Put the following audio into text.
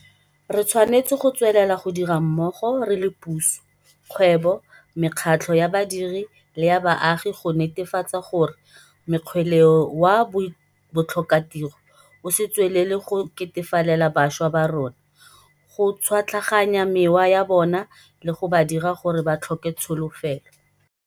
Re tshwanetse go tswelela go dira mmogo re le puso, kgwebo, mekgatlho ya badiri le ya baagi go netefatsa gore mokgweleo wa botlhokatiro o se tswelele go ketefalela bašwa ba rona, go tšhwatlaganya mewa ya bona le go ba dira gore ba tlhoke tsolofelo.